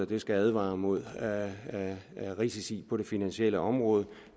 det skal advare mod risici på det finansielle område